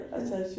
Ja